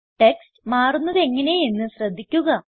text മാറുന്നത് എങ്ങനെ എന്ന് ശ്രദ്ധിക്കുക